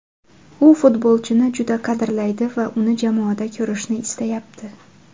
U futbolchini juda qadrlaydi va uni jamoada ko‘rishni istayapti.